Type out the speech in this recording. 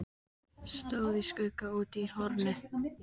Stóð í skugga úti í horni.